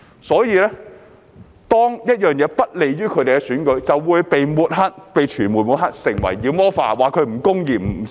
因此，當一件事不利於他們的選舉，便會被傳媒抹黑、被妖魔化，被指為不公義等。